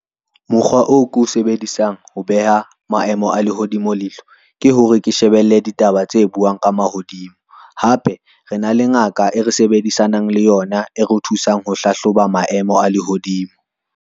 Mokgwa oo ke oe sebedisang ho beha maemo a lehodimo leihlo, ke hore ke shebelle ditaba tse buang ka mahodimo. Hape re na le ngaka e re sebedisanang le yona e re thusang ho hlahloba maemo a lehodimo.